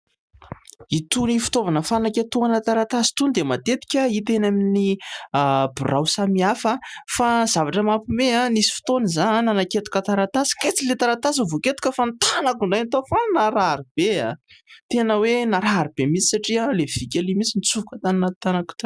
Itony fitaovana fanaketohana taratasy itony dia matetika hita eny amin'ny birao samihafa. Fa zavatra mampiomehy ; nisy fotoana izahay nanaketoka taratasy kay tsy ilay taratasy no voaketoka fa ny tanako indray no tao. Fa naharary be aho ! Tena hoe naharary be mihintsy satria ilay vy kely iny mihintsy no nitsofoka tany anatin'ny tanako tany.